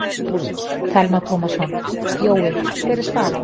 Telma Tómasson: Jói, hver er staðan?